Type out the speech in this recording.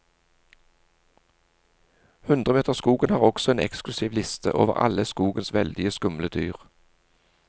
Hundremeterskogen har også en eksklusiv liste over alle skogens veldig skumle dyr.